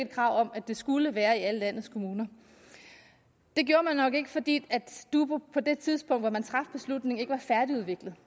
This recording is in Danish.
krav om at det skulle være i alle landets kommuner det gjorde man nok ikke fordi dubu på det tidspunkt hvor man traf beslutningen ikke var færdigudviklet